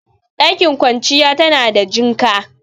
Ɗakin kwanciya tada jinka